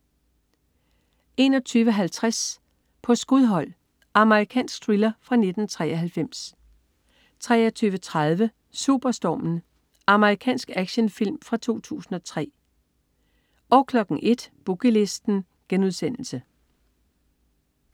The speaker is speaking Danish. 21.50 På skudhold. Amerikansk thriller fra 1993 23.30 Superstormen. Amerikansk actionfilm fra 2003 01.00 Boogie Listen*